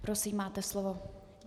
Prosím, máte slovo.